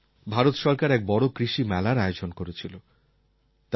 কিছুদিন আগে ভারত সরকার এক বড় কৃষি মেলার আয়োজন করেছিল